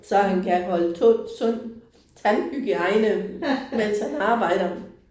Så han kan holde sund tandhygiejne mens han arbejder